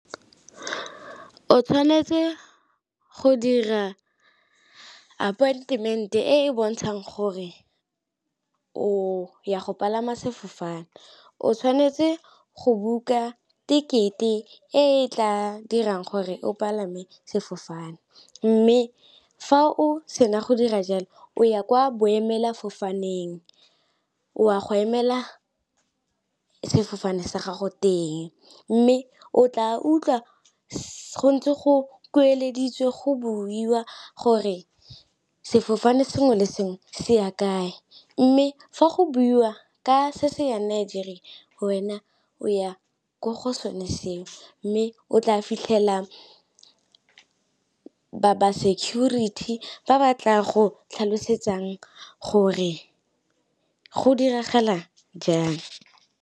O tshwanetse go dira appointment e e bontshang gore o ya go palama sefofane, o tshwanetse go dikete e tla dirang gore o palame sefofane. Mme fa o sena go dira jalo o ya kwa boemela fofaneng o a go emela sefofane sa gago teng, mme o tla utlwa go ntse go kueleditswe go buiwa gore sefofane sengwe le sengwe se ya kae, mme fa go buiwa ka se se yang Nigeria wena o ya ko go sone seo, mme o tla fitlhela ba security ba batla go tlhalosetsang gore go diragala jang.